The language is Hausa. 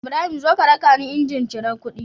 Ibrahim zo ka rakani injin cirar kuɗi